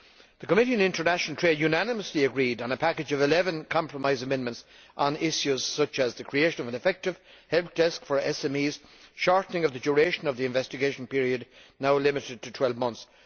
The Committee on International Trade unanimously agreed on a package of 11 compromise amendments on issues, such as the creation of an effective Help Desk for SMEs and shortening of the duration of the investigation period, now limited to 12 months.